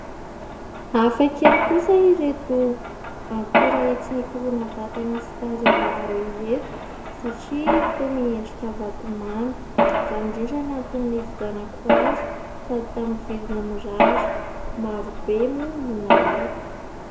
Hafa kely kosa ireto akora entina hikoloana vatana sy tarehy vaovao ireto satria toa miendrika vatomamy. Izany indrindra ny antony nividianako azy sady tamin'ny vidiny mirary maro be moa no nalaiko.